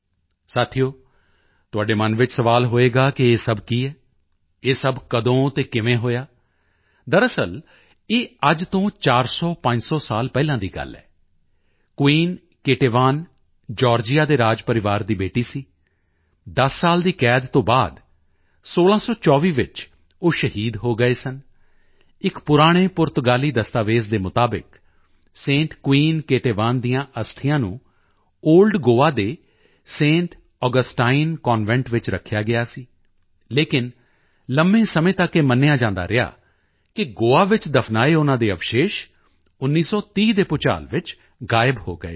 ਸਾਥੀਓ ਤੁਹਾਡੇ ਮਨ ਵਿੱਚ ਸਵਾਲ ਹੋਵੇਗਾ ਕਿ ਇਹ ਸਭ ਕੀ ਹੈ ਇਹ ਸਭ ਕਦੋਂ ਅਤੇ ਕਿਵੇਂ ਹੋਇਆ ਦਰਅਸਲ ਇਹ ਅੱਜ ਤੋਂ 400500 ਸਾਲ ਪਹਿਲਾਂ ਦੀ ਗੱਲ ਹੈ ਕੁਵੀਨ ਕੇਟੇਵਾਨ ਜਾਰਜੀਆ ਦੇ ਰਾਜ ਪਰਿਵਾਰ ਦੀ ਬੇਟੀ ਸੀ 10 ਸਾਲ ਦੀ ਕੈਦ ਤੋਂ ਬਾਅਦ 1624 ਵਿੱਚ ਉਹ ਸ਼ਹੀਦ ਹੋ ਗਏ ਸਨ ਇੱਕ ਪੁਰਾਣੇ ਪੁਰਤਗਾਲੀ ਦਸਤਾਵੇਜ਼ ਦੇ ਮੁਤਾਬਿਕ ਸੈਂਟ ਕੁਈਨ ਕੇਤੇਵਾਂ ਦੀਆਂ ਅਸਥੀਆਂ ਨੂੰ ਓਲਡ ਗੋਆ ਦੇ ਸੈਂਟ ਆਗਸਟਾਈਨ ਕਨਵੈਂਟ ਵਿੱਚ ਰੱਖਿਆ ਗਿਆ ਸੀ ਲੇਕਿਨ ਲੰਮੇ ਸਮੇਂ ਤੱਕ ਇਹ ਮੰਨਿਆ ਜਾਂਦਾ ਰਿਹਾ ਕਿ ਗੋਆ ਵਿੱਚ ਦਫਨਾਏ ਉਨ੍ਹਾਂ ਦੇ ਅਵਸ਼ੇਸ਼ 1930 ਦੇ ਭੁਚਾਲ ਵਿੱਚ ਗਾਇਬ ਹੋ ਗਏ ਸਨ